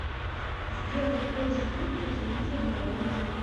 сделать больше звук у телевизора на лоджии